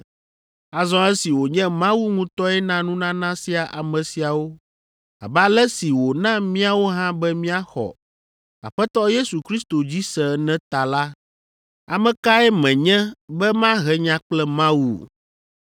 Azɔ esi wònye Mawu ŋutɔe na nunana sia ame siawo abe ale si wòna míawo hã be míaxɔ Aƒetɔ Yesu Kristo dzi se ene ta la, ame kae menye be mahe nya kple Mawu?”